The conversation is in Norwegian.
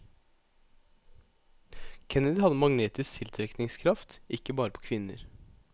Kennedy hadde en magnetisk tiltrekningskraft, ikke bare på kvinner.